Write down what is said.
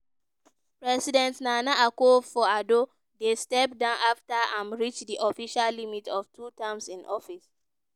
president nana akufo-addo dey step down afta im reach di official limit of two terms in office.